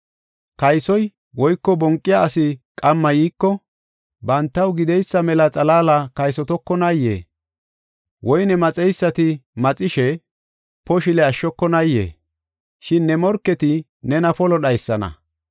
“Kaysoy woyko banqiya asi qamma yiiko, bantaw gideysa mela xalaala kaysotokonayee? Woyne maxeysati maxishe, poshile ashshokonaayee? Shin ne morketi nena polo dhaysana.